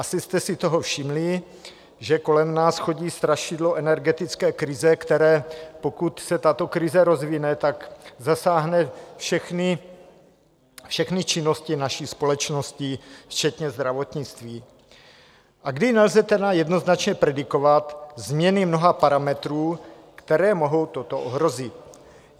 Asi jste si toho všimli, že kolem nás chodí strašidlo energetické krize, které pokud se tato krize rozvine, tak zasáhne všechny činnosti naší společnosti včetně zdravotnictví, a kdy nelze tedy jednoznačně predikovat změny mnoha parametrů, které mohou toto ohrozit.